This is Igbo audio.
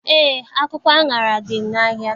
Eé, akwụkwọ aṅara dị n'ahịa.